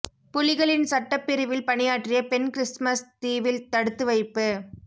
புலிகளின் சட்டப் பிரிவில் பணியாற்றிய பெண் கிறிஸ்மஸ் தீவில் தடுத்து வைப்பு